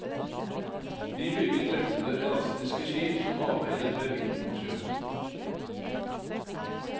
De bygget lette, elastiske skip som arbeidet med vind og sjø.